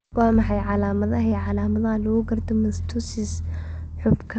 Waa maxay calaamadaha iyo calaamadaha lagu garto mastocytosis xuubka?